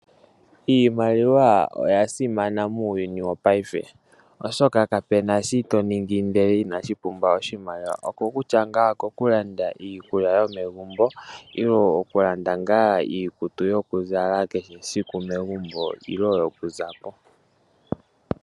Iimaliwa oya simana muuyuni wopaife, oshoka kapu na shi to ningi ndele inashi pumbwa oshimaliwa. Okutya ngaa okokulanda iikulya nenge okulanda iikutu yokuzala kehe esiku megumbo nenge yo ku za po.